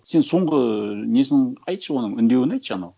сен соңғы несін айтшы оның үндеуін айтшы анау